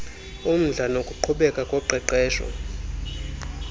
umdla nokuqhubeka koqeqesho